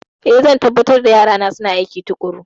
Ee, zan tabbatar da yarana suna aiki tuƙuru.